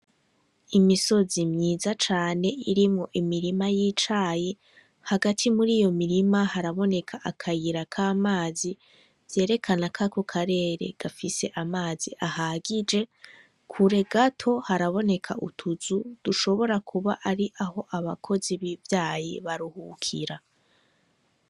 Imisozi myiza cane irimwo imirima y'icayi, hagati muriyo mirima haraboneka akayira k'amazi vyerekana k'ako karere gafise amazi ahagije, kure gato haraboneka utuzu dushobora kuba ari aho abakozi b'ivyayi baruhukira.